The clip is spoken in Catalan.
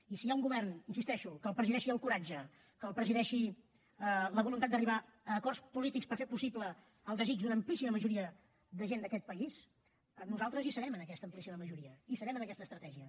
i si hi ha un govern hi insisteixo que el presideixi el coratge que el presideixi la voluntat d’arribar a acords polítics per fer possible el desig d’una amplíssima majoria de gent d’aquest país nosaltres hi serem en aquesta estratègia